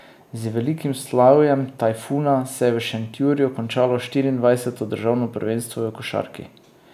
Z velikim slavjem Tajfuna se je v Šentjurju končalo štiriindvajseto državno prvenstvo v košarki.